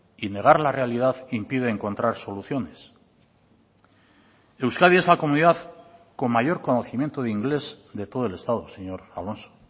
y negar la realidad impide encontrar soluciones euskadi es la comunidad con mayor conocimiento de inglés de todo el estado señor alonso